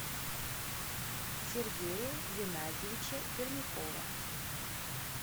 сергея геннадьевича пермякова